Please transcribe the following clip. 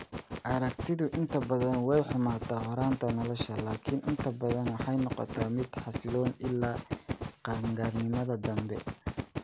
Aragtidu inta badan way xumaataa horraanta nolosha, laakiin inta badan waxay noqotaa mid xasilloon ilaa qaan-gaarnimada dambe.